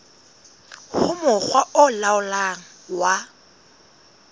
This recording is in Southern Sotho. ho mokga o laolang wa